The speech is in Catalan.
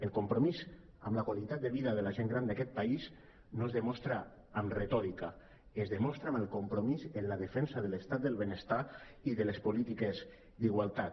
el compromís amb la qualitat de vida de la gent gran d’aquest país no es demostra amb retòrica es demostra amb el compromís en la defensa de l’estat del benestar i de les polítiques d’igualtat